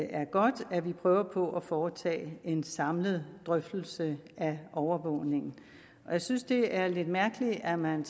er godt at vi prøver på at foretage en samlet drøftelse af overvågningen jeg synes det er lidt mærkeligt at man